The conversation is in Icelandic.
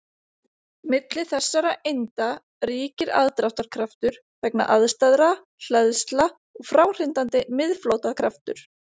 Milli þessara einda ríkir aðdráttarkraftur vegna andstæðra hleðsla og fráhrindandi miðflóttakraftur.